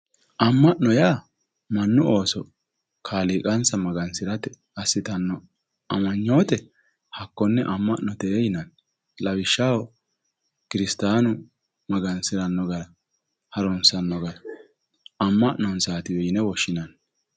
amma'no yaa mannu Ooso kaliiqansa magasi'rate assitanno amanyoote hakkonne amma'note yinanni, lawishshaho, kirisitaanu magansi'ranno gara harunsanno gara amma'nonsaatiwe yine woshhsinanni